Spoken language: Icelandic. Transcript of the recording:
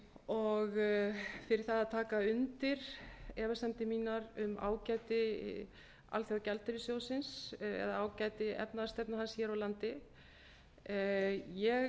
og fyrir það að taka undir efasemdir mínar um ágæti alþjóðagjaldeyrissjóðsins eða ágæti efnahagsstefnu hans hér á landi ég